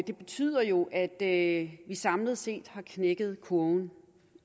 det betyder jo at vi samlet set har knækket kurven